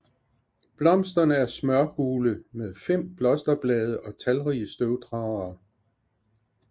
Blomsterne er smørgule med 5 blosterblade og talrige støvdragere